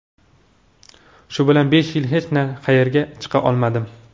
Shu bilan besh yil hech qayerga chiqa olmadim.